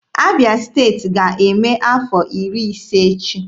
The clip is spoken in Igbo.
Abịa Steeti ga-eme afọ iri ise echi.